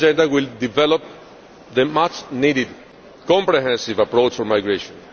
will develop the much needed comprehensive approach for migration.